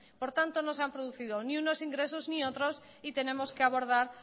por tanto no se han producido ni unos ingresos ni otros y tenemos que abordar